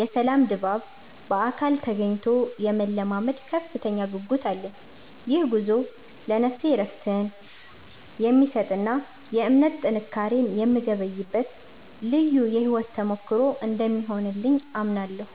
የሰላም ድባብ በአካል ተገኝቶ የመለማመድ ከፍተኛ ጉጉት አለኝ። ይህ ጉዞ ለነፍሴ እረፍትን የሚሰጥና የእምነት ጥንካሬን የምገበይበት ልዩ የሕይወት ተሞክሮ እንደሚሆንልኝ አምናለሁ።